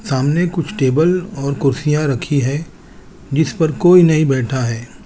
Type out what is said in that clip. सामने कुछ टेबल और कुर्सियां रखी है जिस पर कोई नहीं बैठा है।